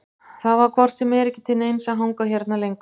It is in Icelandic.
Það var hvort sem er ekki til neins að hanga hérna lengur.